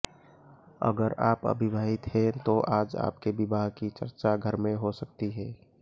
अगर आप अविवाहित हैं तो आज आपके विवाह की चर्चा घर में हो सकती है